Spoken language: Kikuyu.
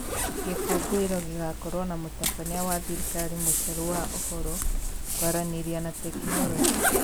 Gikũngũiro gĩgakorwo na mũtabania wa thirikari Mũcheru wa ũhoro, kwaranĩria na tekinoronjĩ.